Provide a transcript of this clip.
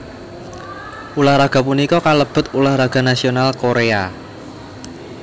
Ulah raga punika kalebet ulah raga nasional Korea